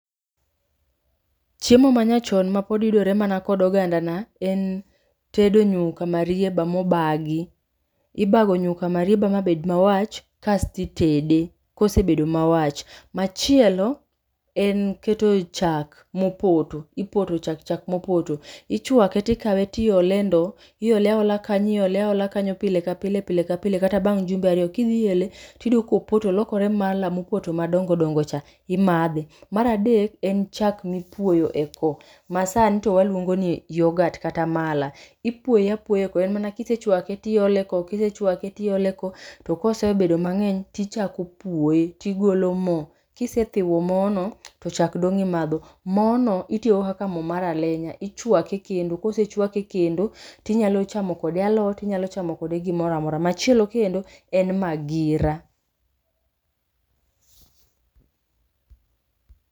Chiemo manyachon mapod yudore mana kod oganda na en tedo nyuka marieba mobagi. Ibago nyuka marieba mabed mawach kasti tede kosebedo mawach. Machielo en keto chak mopoto, ipoto chak chak mopoto. Ichwake tikawe tiole e ndo, iole aola kanyo iole aola kanyo pile ka pile pile ka pile kata bang' jumbe ariyo kishi ele tiyudo kopoto olokore mala mopoto madongo dongo cha, imadhe. Maradek, en chak mipuoyo e ko, ma sani to waluongo ni yogat kata mala. Ipuoye apuoya e ko, en mana kisechwake tiole ko, kisechake tiole ko. To kosebedo mang'eny tichako puoye tigolo moo, kisethiwa moo no to chak dong' imadho. Mono itiyogo kaka moo mar alenya, ichwake e kendo to kosechwake e kendo tinyalo chamo kode alot inyalo chamo kode gimoramora. Machielo kendo en magira.